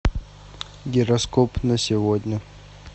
гороскоп на сегодня